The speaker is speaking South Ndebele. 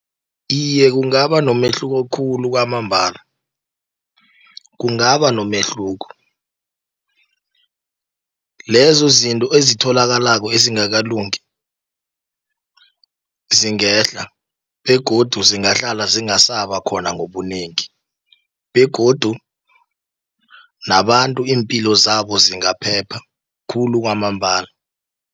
Iye, kungaba nomehluko khulu kwamambala, kungaba nomehluko. Lezo zinto ezitholakalako ezingakalungi, zingehla, begodu zingahlala zingasaba khona ngobunengi begodu nabantu iimpilo zabo zingaphepa, khulu kwamambala.